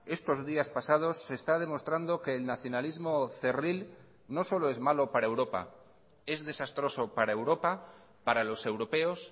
estos días pasados se está demostrando que el nacionalismo cerril no solo es malo para europa es desastroso para europa para los europeos